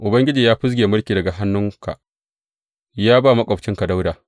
Ubangiji ya fizge mulki daga hannunka, ya ba maƙwabcinka Dawuda.